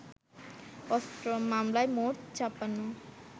অস্ত্র মামলায় মোট ৫৬